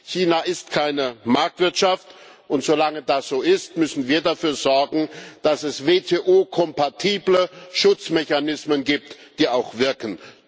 China ist keine Marktwirtschaft, und solange das so ist, müssen wir dafür sorgen, dass es WTO kompatible Schutzmechanismen gibt, die auch wirken.